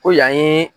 Ko yan ye